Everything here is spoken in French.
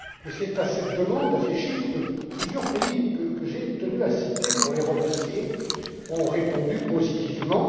C'est à cette demande, à ces chiffres, que plusieurs pays que j'ai tenu à citer pour les remercier ont répondu positivement.